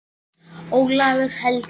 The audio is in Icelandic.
Ólafur Helgi.